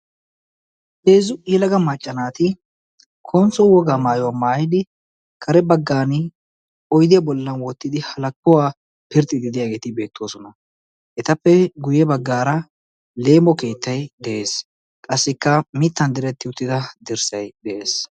heezzu yelaga maacca naati konsso wogaa maayuwaa maayidi kare baggan oidiyaa bollan woottidi halakkuwaa pirxxiidi diyaageeti beettoosona etappe guyye baggaara leemo keettay de'ees qassikka mittan diretti uttida dirssay de'ees